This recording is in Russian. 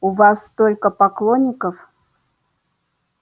у вас столько поклонников